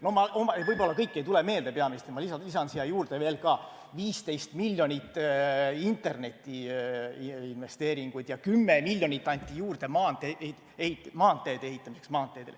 Võib-olla ei tule peaministril kohe kõik meelde peaministril, ma lisan siia juurde veel 15 miljonit interneti investeeringuid ja 10 miljonit, mis anti juurde maanteede ehitamiseks.